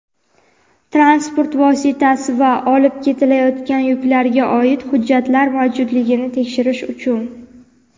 transport vositasi va olib ketilayotgan yuklarga oid hujjatlar mavjudligini tekshirish uchun.